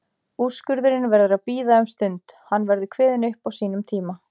Úrskurðurinn verður að bíða um stund, hann verður kveðinn upp á sínum tíma.